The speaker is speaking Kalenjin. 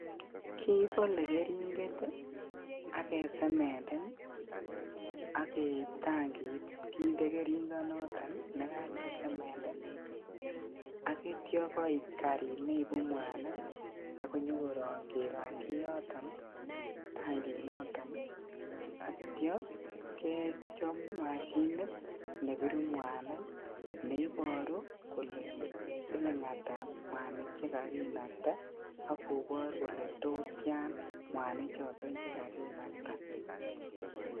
Kibole keringet ii ak kesemenden ak keib tankit kinde keringonoton nekakesemenden ak itio koit karit neibu mwanik ak konyokorong kerongji yoton ,tankinoton yeitio kechop mashinit nebiru mwanik neiboru kole siling ata chekakinakta ak kobor kole tos tian mwanichoton chekakinakta.